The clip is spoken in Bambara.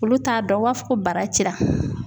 Olu t'a dɔn, u b'a fɔ ko bara cira.